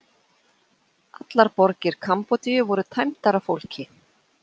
Allar borgir Kambódíu voru tæmdar af fólki.